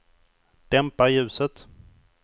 dämpa ljuset